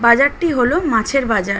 বাজার টি হলো মাছের বাজার।